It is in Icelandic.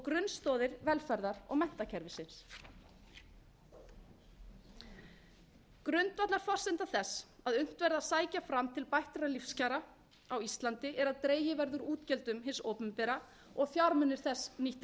grunnstoðir velferðar og menntakerfisins grundvallarforsenda þess að unnt verði að sækja fram til bættra lífskjara á íslandi er að dregið verði úr útgjöldum hins opinbera og fjármunir þess nýttir